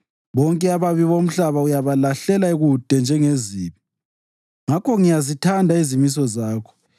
Bonke ababi bomhlaba uyabalahlela kude njengezibi; ngakho ngiyazithanda izimiso zakho.